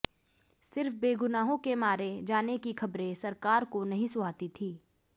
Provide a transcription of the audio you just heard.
सिर्फ बेगुनाहों के मारे जाने की खबरें सरकार को नहीं सुहाती थीं